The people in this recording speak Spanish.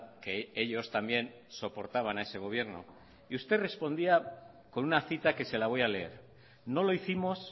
que ellos también soportaban a ese gobierno y usted respondía con una cita que se la voy a leer no lo hicimos